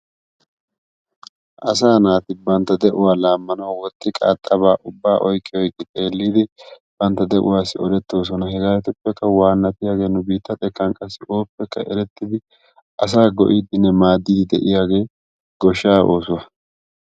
Asaa naati bantta de'uwaa laammanaw woxxi qaaxaba ubba oyqqi oyqqi xeellidi bantta de'uwassi olettoosona. Hegeetuppekka waanatiyaagee nu biitta xekkan qassi ooppekka erettidi asaa go''idinne maadiidi de'iyaagee goshshaa oosuwaa.